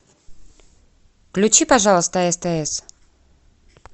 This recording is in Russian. включи пожалуйста стс